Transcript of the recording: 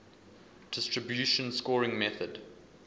distribution scoring method